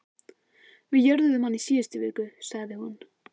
Við jörðuðum hann í síðustu viku, sagði hún.